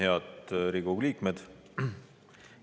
Head Riigikogu liikmed!